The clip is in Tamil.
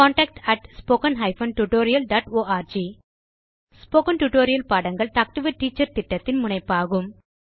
contact spoken hyphen tutorial dot org spoken tutorial பாடங்கள் டாக் டு எ டீச்சர் திட்டத்தின் முனைப்பாகும்